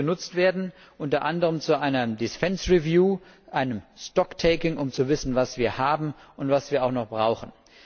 Er muss genutzt werden, unter anderem zu einer defence review einem stock taking um zu wissen, was wir haben und was wir noch brauchen.